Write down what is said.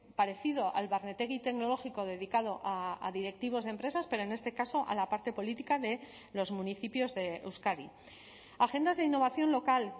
parecido al barnetegi tecnológico dedicado a directivos de empresas pero en este caso a la parte política de los municipios de euskadi agendas de innovación local